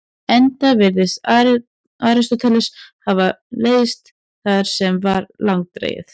Enda virðist Aristóteles hafa leiðst það sem var langdregið.